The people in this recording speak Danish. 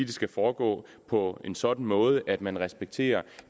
det skal foregå på en sådan måde at man respekterer